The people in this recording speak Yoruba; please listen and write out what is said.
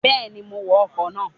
Bẹ́ẹ̀ni, mo wọ ọkọ̀ náà